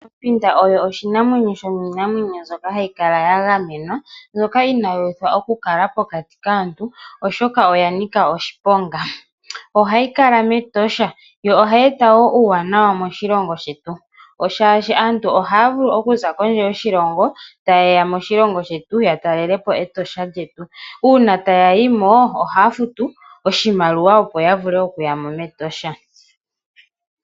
Ompinda oyo oshinamwenyo shomiinamwenyo mbyoka hayi kala ya gamenwa no inayi uthwa okukala pokati kaantu, oshoka oya nika oshiponga. Ohayi kala mEtosha, yo ohayi eta wo uuwanawa moshilomgo shetu shaashi aantu ohaya vu okuza kondje yoshilongo taye ya moshilongo shetu, ya telele po Etosha lyetu. Uuna taya yimo ohaya futu oshimaliwa opo ya vule okuya mo mEtosha.